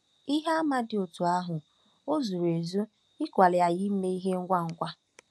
Ihe àmà dị otú ahụ ò zuru ezu ịkwali anyị ime ihe ngwa ngwa?